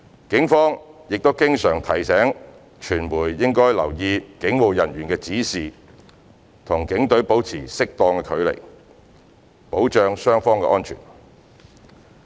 警方亦經常提醒傳媒應留意警務人員的指示，與警隊保持適度距離，保障雙方安全。